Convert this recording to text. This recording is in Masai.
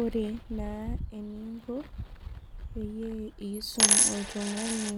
Ore na eninko peyie isum oltungani